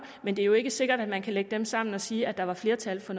men det er jo ikke sikkert at man kan lægge dem sammen og sige at der var flertal for